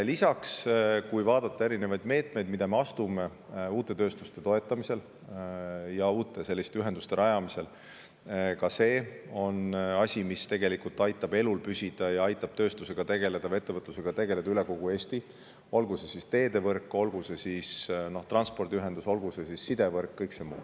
Lisaks, ka erinevad meetmed, mida me astume uute tööstuste toetamisel ja uute ühenduste rajamisel, aitavad elus püsida, tegeleda tööstusega ja ettevõtlusega üle kogu Eesti, olgu teedevõrk, transpordiühendus, sidevõrk või kõik muu.